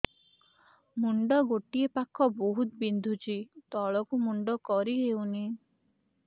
ମୁଣ୍ଡ ଗୋଟିଏ ପାଖ ବହୁତୁ ବିନ୍ଧୁଛି ତଳକୁ ମୁଣ୍ଡ କରି ହଉନି